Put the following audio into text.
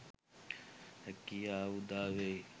හැකියාව උදාවෙයි.